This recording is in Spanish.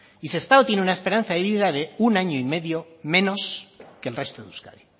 y sestao tiene una esperanza de vida de un año y medio menos que el resto de euskadi